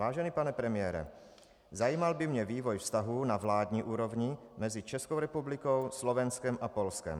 Vážený pane premiére, zajímal by mě vývoj vztahů na vládní úrovni mezi Českou republikou, Slovenskem a Polskem.